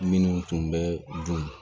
Minnu tun bɛ dun